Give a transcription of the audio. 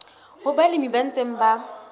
ho balemi ba ntseng ba